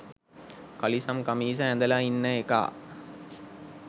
කලිසම් කමිස ඇඳලා ඉන්න එකා